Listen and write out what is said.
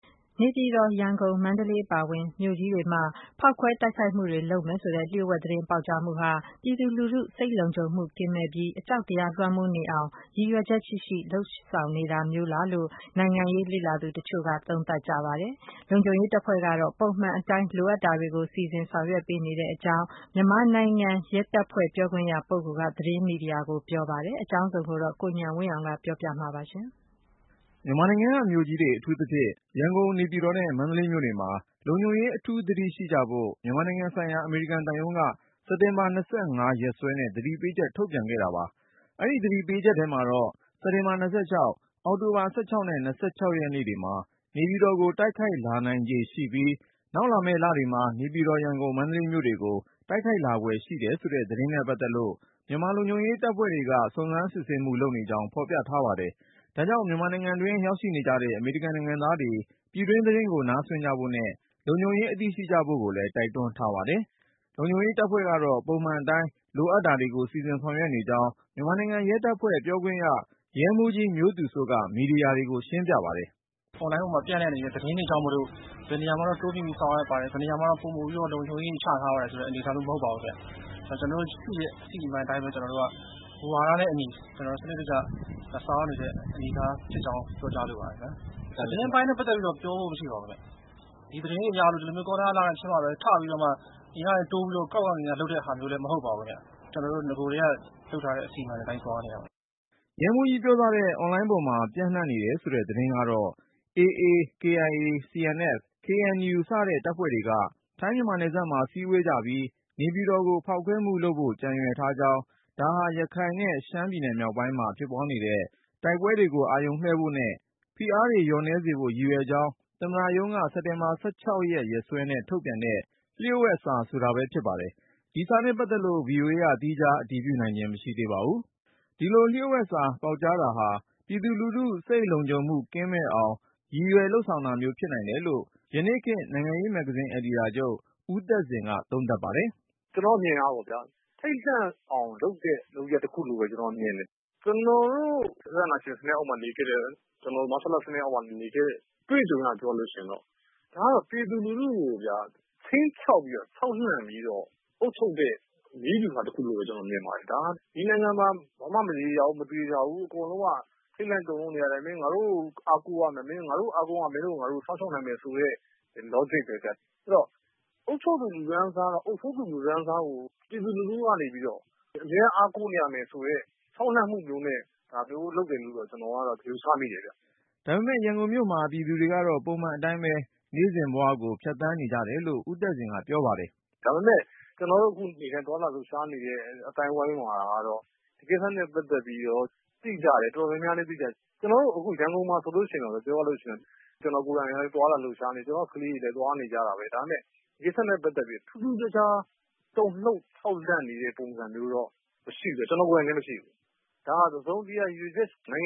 နေပြည်တော်၊ ရန်ကုန် ၊မန္တလေးအပါအဝင် မြို့ကြီးတွေမှာ ဖေါက်ခွဲ တိုက်ခိုက်မှုတွေလုပ်မယ်ဆိုတဲ့ လျှို့ဝှက်သတင်း ပေါက်ကြားမှုဟာ ပြည်သူလူထု စိတ်လုံခြုံမှုကင်းမဲ့ပြီး အကြောက်တရား လွှမ်းမိုးနေအောင် ရည်ရွယ်ချက်ရှိရှိ လုပ်ဆောင်နေတာမျိုးလားလို့ နိုင်ငံရေးလေ့လာသူ တချို့ကသုံးသပ်ပါတယ်။ လုံခြုံရေးတပ်ဖွဲ့ကတော့ ပုံမှန်အတိုင်း လိုအပ်တာတွေကို စီစဉ်ဆောင်ရွက်နေကြောင်း မြန်မာနိုင်ငံရဲတပ်ဖွဲ့ ပြောခွင့်ရ ပုဂ္ဂိုလ်က သတင်းမီဒီယာတွေကို ပြောကြားပါတယ်။ အကြောင်းစုံကို ကိုဉာဏ်ဝင်းအောင်က တင်ပြမှာပါ။ မြန်မာနိုင်ငံက မြို့ကြီးတွေ အထူးသဖြင့် ရန်ကုန် နေပြည်တော်နဲ့ မန္တလေးမြို့တွေမှာ လုံခြုံရေး အထူးသတိရှိကြဖို့ မြန်မာနိုင်ငံဆိုင်ရာ အမေရိကန်သံရုံးက စက်တင်ဘာ ၂၅ ရက်စွဲနဲ့ သတိပေးချက်ထုတ်ပြန်ခဲ့တာပါ။ အဲဒီသတိပေးချက်ထဲမှာတော့ စက်တင်ဘာ ၂၆ ၊ အောက်တိုဘာ ၁၆ နဲ့ ၂၆ ရက်တွေမှာ နေပြည်တော်ကို တိုက်ခိုက်လာနိုင်ခြေရှိပြီး၊ နောက် လာမယ့် လတွေမှာ နေပြည်တော်၊ ရန်ကုန်၊ မန္တလေးမြို့တွေကို တိုက်ခိုက်လာဖွယ် ရှိတယ်ဆိုတဲ့ သတင်းနဲ့ ပတ်သက်လို့ မြန်မာလုံခြုံရေး တပ်ဖွဲ့တွေက စုံစမ်းစစ်ဆေးမှု လုပ်နေကြောင်း ဖေါ်ပြထားပါတယ်။ ဒါကြောင့် မြန်မာနိုင်ငံတွင်း ရောက်နေကြတဲ့ အမေရိကန်နိုင်ငံသားတွေ ပြည်တွင်းသတင်းကို နားစွင့်ဖို့နဲ့ လုံခြုံရေး အသိ ရှိကြဖို့ကိုလည်း တိုက်တွန်းထားပါတယ်။ လုံခြုံရေးတပ်ဖွဲ့ကတော့ ပုံမှန်အတိုင်း လိုအပ်တာကို စီစဉ်ဆောင်ရွက်နေကြောင်း မြန်မာနိုင်ငံရဲတပ်ဖွဲ့ ပြောခွင့်ရ ရဲမှူးကြီး မျိုးသူစိုးက မီဒီယာတွေကို ရှင်းပြပါတယ်။ “အွန်လိုင်းပေါ်မှာ ပျံ့နှံ့နေတဲ့ သတင်းတွေကြောင့်မို့လို့ ဘယ်နေရာမှာတော့ တိုးမြှင့်ပြီး ဆောင်ရွက်ပါတယ်။ ဘယ်နေရာမှာတော့ လုံခြုံရေးတွေ ချထားပါတယ်ဆိုတဲ့ အနေအထားမျိုး မဟုတ်ပါဘူးခင်ဗျ။ ကျနော်တို့ ရှိတဲ့ အစီအမံတိုင်းပဲ ကျနော်တို့က မူဝါဒနဲ့အညီ စနစ်တကျ ဆောင်ရွက်နေတဲ့ အနေအထားဖြစ်ကြောင်း ပြောကြားလိုပါတယ်။ သတင်းပိုင်းနဲ့ ပတ်သက်ပြီးတော့ ပြောဖို့မရှိပါဘူး ခင်ဗျ။ ဒီသတင်းတွေအရ ဒီလိုမျိုးကောလဟာလဖြစ်မှပဲ ထပြီးတော့ အရမ်းလုပ်ရတာလည်း မဟုတ်ပါဘူးခင်ဗျ။ ကျနော်တု့ိ နဂိုက လုပ်ထားတဲ့ အစီအမံအတိုင်း သွားနေတာပါ။” ရဲမှူးကြီးပြောသွားတဲ့ အွန်လိုင်းပေါ်မှာ ပျံ့နှံ့နေတယ်ဆိုတဲ့ သတင်းကတော့ AA ရခိုင်၊ KIA ကချင်၊ CNF ချင်း၊ KNU ကရင်စတဲ့ တပ်ဖွဲ့တွေက ထိုင်းမြန်မာ နယ်စပ်မှာစည်းဝေးကြပြီး၊ နေပြည်တော်ကို ဖေါက်ခွဲမှုလုပ်ဖို့ ကြံရွယ်ထားကြောင်း၊ ဒါဟာ ရခိုင်နဲ့ ရှမ်းမြောက်ပိုင်းမှာ ဖြစ်ပွားနေတဲ့ တိုက်ပွဲတွေကို အာရုံလွှဲဖို့နဲ့ ဖိအားတွေ လျော့နည်းစေဖို့ ရည်ရွယ်ကြောင်း သမ္မတရုံးက စက်တင်ဘာ(၁၆)ရက်စွဲနဲ့ ထုတ်ပြန်တဲ့ “လျှို့ဝှက်”စာ ဆိုတာပဲဖြစ်ပါတယ်။ ဒီစာနဲ့ပတ်သက်လို့ VOA က သီးခြားအတည်နိုင်ခြင်း မရှိသေးပါဘူး။ ဒီလို“လျှို့ဝှက်”စာပေါက်ကြားတာဟာပြည်သူလူထု စိတ်လုံခြုံမှု ကင်းမဲ့အောင် ရည်ရွယ်လုပ်ဆောင်တာမျိုး ဖြစ်နိုင်တယ်လို့ ယနေ့ခေတ် နိုင်ငံရေးမဂ္ဂဇင်း အယ်ဒီတာချုပ် ဦးသက်ဇင်က သုံးသပ်ပါတယ်။ “ကျနော့်အမြင်ကတော့ ထိတ်လန့်အောင်လုပ်တဲ့ လုပ်ရပ်တခုလို့ပဲ မြင်တယ်။ ကျနော်တို့ မဆလ ၊ စစ်အာဏာရှင်စနစ်အောက်မှာ နေခဲ့တဲ့အတွေ့အကြုံအရပြောရရင်ဒါက ပြည်သူတွေကို ခြိမ်းခြောက်ပြီးတော့ ခြောက်လှန့်ပြီးတော့ အုပ်ချုပ်တဲ့ နည်းဗျူဟာတခုလို့ပဲ ကျနော်မြင်ပါတယ်။ ဒီနိုင်ငံမှာ ဘာမှ မရေရာဘူး ၊မသေချာဘူး ၊ အားလုံးက ထိတ်လန့်နေရတယ် ငါတို့ကိုပဲ အားကိုးရမယ် ။ ငါတို့ကို အားကိုးမှ မင်းတို့ကို ငါတို့ စောင့်ရှောက်နိုင်မယ်ဆိုတဲ့ logic ပဲဗျ ဆိုတော့ အုပ်ချုပ်သူ လူတန်းစား ၊ အုပ်စိုးတဲ့ လူတန်းစားကို ပြည်သူကနေပြီးတော့ အမြဲအားကိုးနေရမယ်ဆိုတဲ့ ခြောက်လှန့်မှုနဲ့ ဒါမျိုးလုပ်တယ်လို့ ယူဆမိတယ်ခင်ဗျ။” ဒါပေမဲ့ ရန်ကုန်မြို့မှာ ပြည်သူတွေကတော့ ပုံမှန်အတိုင်းပဲ နေ့စဉ်ဘဝကို ဖြတ်သန်းနေကြတယ်လို့ ဦးသက်ဇင်က ပြောပါတယ်။ “ဒါပေမယ့် ကျနော်တို့ နေ့တိုင်းသွားလာလှုပ်ရှားနေတဲ့ အသိုင်းအဝိုင်းမှာကတော့ ဒါနဲ့ ပတ်သက်ပြီးတော့ သိကြတယ် တော်တော်များများလည်း သိတယ်။ ကျနော်တို့ ရန်ကုန်မှာ ပြောရရင်တော့ ကျနော်ကိုယ်တိုင်လည်း သွားလာလှုပ်ရှားတယ် ကျနော့်ကလေးတွေလည်း သွားနေကြတာပဲ ။ ဒါပေမယ့် ဒါနဲ့ ပတ်သက်ပြီးတော့ ထူးထူးခြားခြား တုန်လှုပ်ခြောက်လန့်နေတဲ့ ပုံစံတော့ မရှိဘူး ကျနော်ကိုယ်တိုင်လည်း မရှိဘူး ။ ဒါက တစုံတရာ နိုင်င